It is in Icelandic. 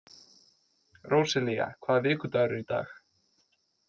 Róselía, hvaða vikudagur er í dag?